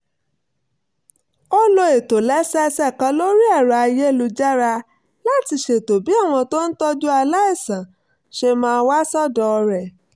ó lo ìtòlẹ́sẹẹsẹ kan lórí ẹ̀rọ-ayélujára láti ṣètò bí àwọn tó ń tọ́jú aláìsàn ṣe máa wá sọ́dọ̀ rẹ̀